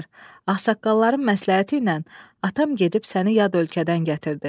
Ağsaqqalların məsləhəti ilə atam gedib səni yad ölkədən gətirdi.